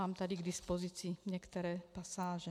Mám tu k dispozici některé pasáže.